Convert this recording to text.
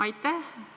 Aitäh!